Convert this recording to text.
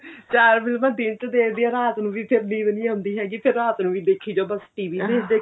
ਚਾਰ ਫਿਲਮਾਂ ਦਿਨ ਚ ਦੇਖਦੀ ਆ ਰਾਤ ਨੂੰ ਵੀ ਫਿਰ ਨੀਂਦ ਆਉਂਦੀ ਹੈਗੀ ਫੀਰ ਰਾਤ ਨੂੰ ਦੇਖੀ ਜਾਓ ਬੱਸ TVਵੀ